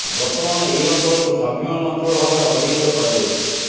ବର୍ତ୍ତମାନ ଏହି ଅଞ୍ଚଳକୁ ସ୍ୱାଭିମାନ ଅଞ୍ଚଳ ଭାବରେ ଅଭିହିତ କରାଯାଉଛି